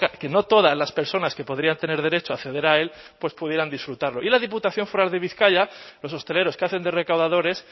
que no todas las personas que podrían tener derecho a acceder a él pues pudieran disfrutarlo y la diputación foral de bizkaia los hosteleros que hacen de recaudadores